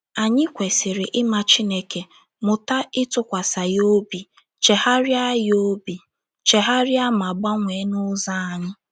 Anyị kwesịrị ịma Chineke, mụta ịtụkwasa ya obi, chegharịa ya obi, chegharịa ma gbanwee n'ụzọ anyị